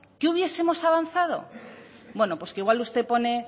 qué hubiesemos avanzado bueno pues que igual usted pone